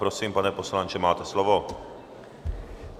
Prosím, pane poslanče, máte slovo.